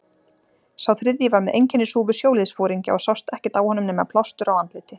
Sá þriðji var með einkennishúfu sjóliðsforingja og sást ekkert á honum nema plástur á andliti.